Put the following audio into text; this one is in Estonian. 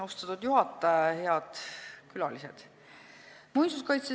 Austatud juhataja!